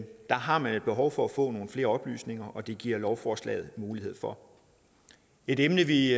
har man behov for at få nogle flere oplysninger og det giver lovforslaget mulighed for et emne vi